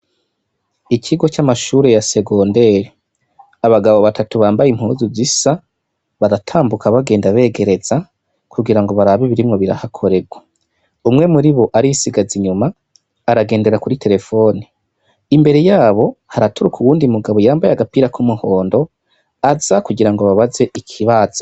Ikigo c'amashure ya segonderi, abagabo batatu bambaye impuzu zisa baratambuka bagenda begereza kugira ngo baraba birimwo birahakoregwa. Umwe muribo arisigaza inyuma aragendera kuri terefoni. Imbere yabo haraturuka uwundi mugabo yambaye agapira k'umuhondo aza kugirango ababaze ikibazo.